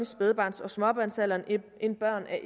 spædbarns og småbarnsalderen end børn af